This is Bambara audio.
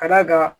Ka d'a kan